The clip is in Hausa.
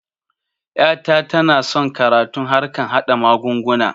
Ƴa ta tana son karatun harkan haɗa mugunguna